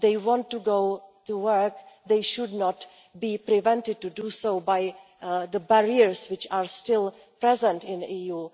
If they want to go to work, they should not be prevented from doing so by the barriers which are still present in the EU.